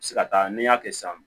Se ka taa n'i y'a kɛ sisan